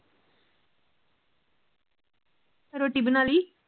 ਰੋਟੀ ਬਣਾ ਲਈ?